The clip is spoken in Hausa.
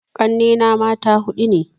Ƙanne na mata huɗu ne